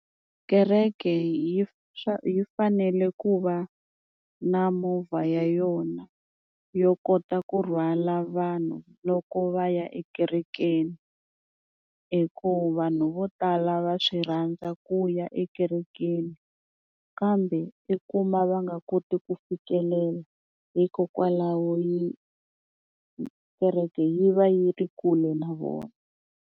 Kereke yi yi fanele ku va na movha ya yona yo kota ku rhwala vanhu loko va ya ekerekeni hi ku vanhu vo tala va swi rhandza ku ya ekerekeni kambe i kuma va nga koti ku fikelela hikokwalaho yi kereke yi va yi ri kule na vona.